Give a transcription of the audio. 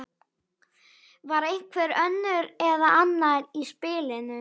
Var einhver önnur eða annar í spilinu?